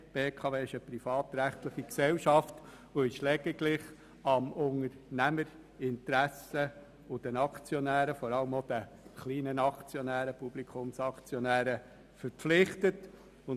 Die BKW ist eine privatrechtliche Gesellschaft und lediglich dem Unternehmerinteresse sowie den Aktionären verpflichtet, vor allem auch den kleinen Aktionären, den Publikumsaktionären.